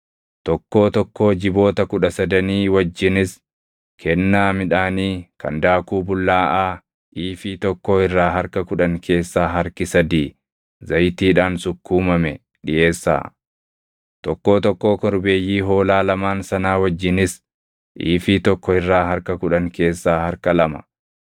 Tokkoo tokkoo jiboota kudha sadanii wajjinis kennaa midhaanii kan daakuu bullaaʼaa iifii tokkoo irraa harka kudhan keessaa harki sadii zayitiidhaan sukkuumame dhiʼeessaa; tokkoo tokkoo korbeeyyii hoolaa lamaan sanaa wajjinis iifii tokko irraa harka kudhan keessaa harka lama,